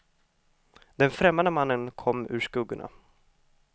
Den främmande mannen kom ur skuggorna.